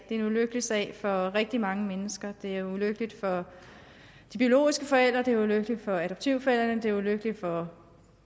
en ulykkelig sag for rigtig mange mennesker det er ulykkeligt for de biologiske forældre det er ulykkeligt for adoptivforældrene det er ulykkeligt for